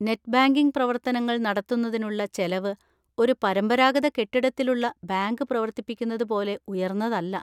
Net banking പ്രവർത്തനങ്ങൾ നടത്തുന്നതിനുള്ള ചെലവ് ഒരു പരമ്പരാഗത കെട്ടിടത്തിലുള്ള ബാങ്ക് പ്രവർത്തിപ്പിക്കുന്നത് പോലെ ഉയർന്നതല്ല.